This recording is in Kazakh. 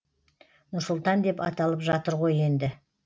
нұр сұлтан деп аталып жатыр ғой енді